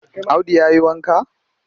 Audu ya yi wanka?